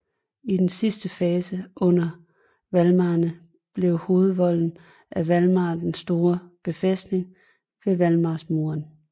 I den sidste fase under Valdemarerne blev hovedvolden af Valdemar den Store befæstet med Valdemarsmuren